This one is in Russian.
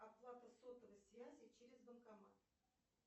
оплата сотовой связи через банкомат